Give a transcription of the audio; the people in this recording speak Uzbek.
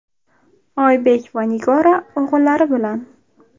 Oybek va Nigora o‘g‘illari bilan .